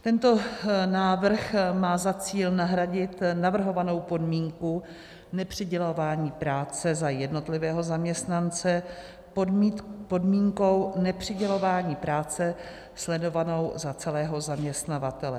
Tento návrh má za cíl nahradit navrhovanou podmínku nepřidělování práce za jednotlivého zaměstnance podmínkou nepřidělování práce sledovanou za celého zaměstnavatele.